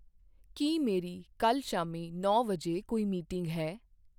ਕੀ ਮੇਰੀ ਕੱਲ੍ਹ ਸ਼ਾਮੀ ਨੌਂ ਵਜੇ ਕੋਈ ਮੀਟਿੰਗ ਹੈ?